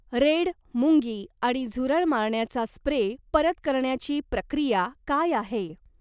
Red मुंगी आणि झुरळ मारण्याचा स्प्रे परत करण्याची प्रक्रिया काय आहे?